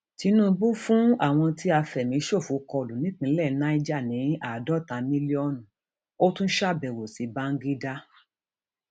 tinúbú fún àwọn tí àfẹmíṣòfò kọlù nípìnlẹ niger ní àádọta mílíọnù ó tún ṣàbẹwò sí bàǹgídá